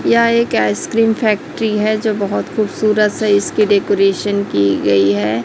यह एक ice cream factory है जो बहुत खूबसूरत से इसकी डेकोरेशन की गई है।